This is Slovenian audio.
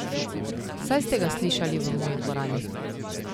Saj ste ga slišali v moji dvorani.